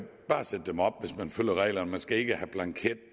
sætte dem op hvis man følger reglerne man skal ikke have blanketter